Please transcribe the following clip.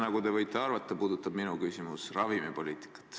Nagu te võite arvata, puudutab minu küsimus ravimipoliitikat.